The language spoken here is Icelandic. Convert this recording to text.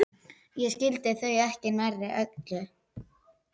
Ég skildi þau ekki nærri öll.